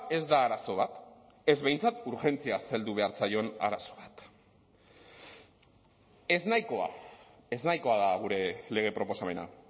ez da arazo bat ez behintzat urgentziaz heldu behar zaion arazo bat eznahikoa eznahikoa da gure lege proposamena